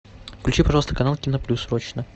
включи пожалуйста канал кино плюс срочно